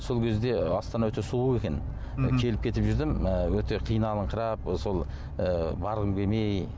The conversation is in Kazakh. сол кезде астана өте суық екен келіп кетіп жүрдім і өте қиналыңқырап сол ы барғым келмей